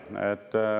Ei ole.